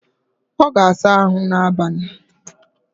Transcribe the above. Ọ ga-asa ahụ n'abalị